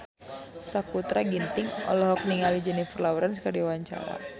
Sakutra Ginting olohok ningali Jennifer Lawrence keur diwawancara